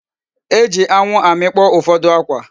E ji anwu amikpo ufodu akwa.